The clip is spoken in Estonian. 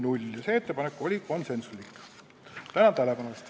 Tänan tähelepanu eest!